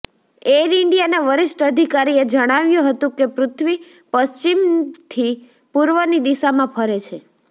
air ઈન્ડિયાના વરિષ્ઠ અધિકારીએ જણાવ્યું હતું કે પૃથ્વી પશ્ચિમથી પૂર્વની દિશામાં ફરે છે